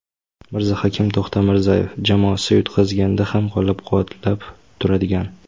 Mirzahakim To‘xtamirzayev: Jamoasi yutqazganda ham qo‘llab-quvvatlab turadigan.